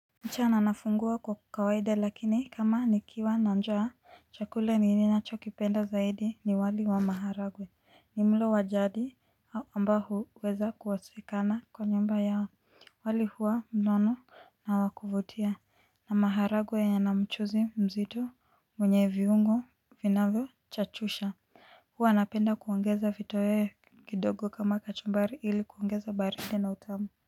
Mchana nafungua kwa kawaida lakini kama nikiwa na njaa chakula ninacho kipenda zaidi ni wali wa maharagwe ni mlo wa jadi ambao huweza kuwasifikana kwa nyumba ya wali huwa nono na wa kuvutia na maharagwe yana mchuzi mzito mwenye viungo vinavyochachusha huwa napenda kuongeza vitoweo kidogo kama kachumbari ili kuongeza baridi na utamu.